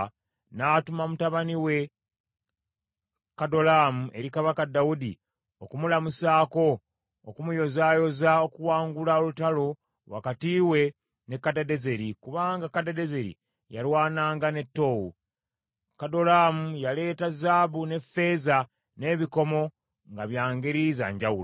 n’atuma mutabani we Kadolaamu eri kabaka Dawudi okumulamusaako n’okumuyozaayoza okuwangula olutalo wakati we ne Kadadezeri, kubanga Kadadezeri yalwananga ne Toowu. Kadolaamu yaleeta zaabu, n’effeeza, n’ebikomo, nga bya ngeri za ngyawulo.